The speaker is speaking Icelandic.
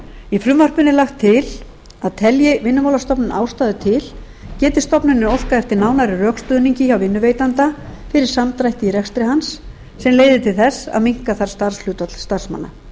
í frumvarpinu er lagt til að telji vinnumálastofnun ástæðu til geti stofnunin óskað eftir nánari rökstuðningi hjá vinnuveitanda fyrir samdrætti í rekstri hans sem leiðir til þess að minnka þarf starfshlutfall starfsmanna